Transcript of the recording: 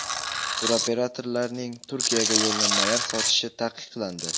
Turoperatorlarning Turkiyaga yo‘llanmalar sotishi taqiqlandi.